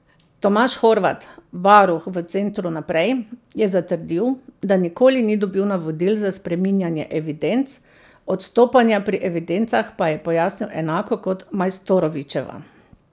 Tomaž Horvat, varuh v centru Naprej, je zatrdil, da nikoli ni dobil navodil za spreminjanje evidenc, odstopanja pri evidencah pa je pojasnil enako kot Majstorovićeva.